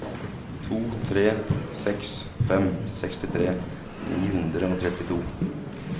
to tre seks fem sekstitre ni hundre og trettito